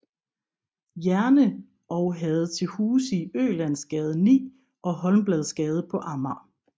Jerne og havde til huse i Ølandsgade 9 og Holmbladsgade på Amager